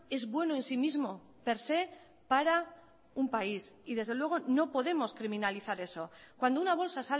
es bueno en sí mismo per se para un país y desde luego no podemos criminalizar eso cuando una bolsa